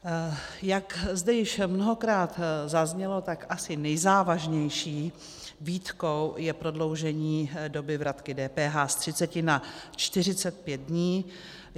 Jak zde již mnohokrát zaznělo, tak asi nejzávažnější výtkou je prodloužení doby vratky DPH z 30 na 45 dní.